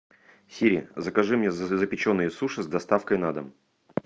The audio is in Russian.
сири закажи мне запеченные суши с доставкой на дом